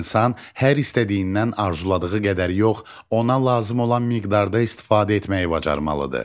İnsan hər istədiyindən arzuladığı qədər yox, ona lazım olan miqdarda istifadə etməyi bacarmalıdır.